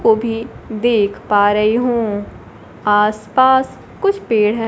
को भी देख पा रही हूं आस पास कुछ पेड़ है।